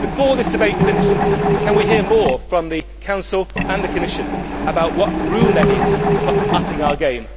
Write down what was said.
Before this debate finishes, can we hear more from the Council and the Commission about what room there is for upping our game?